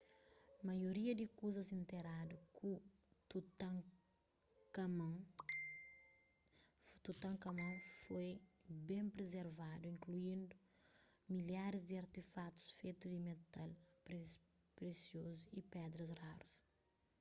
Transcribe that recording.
maioria di kuzas interadu ku tutankhamun foi ben prizervadu inkluindu milharis di artefakutus fetu di metal presiozu y pedras rarus